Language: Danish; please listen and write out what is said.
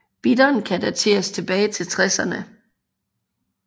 Bitteren kan dateres tilbage til tresserne